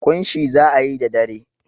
ƙunshi za a yi da dare.